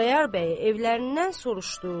Xudayar bəyi evlərindən soruşdu.